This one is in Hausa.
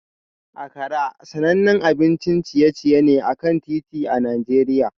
Akara sanannen abincin ciye-ciye ne a kan titi a Najeriya